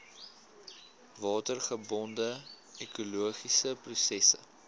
watergebonde ekologiese prosesse